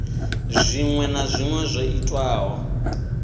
zwinwe na zwinwe zwo itwaho